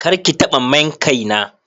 kar ki taba main Kai na.